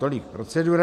Tolik procedura.